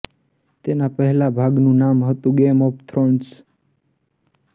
તેના પહેલા ભાગનું નામ હતું ગેમ ઑફ થ્રોન્સ